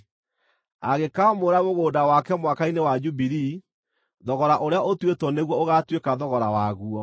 Angĩkaamũra mũgũnda wake Mwaka-inĩ wa Jubilii, thogora ũrĩa ũtuĩtwo nĩguo ũgaatuĩka thogora waguo.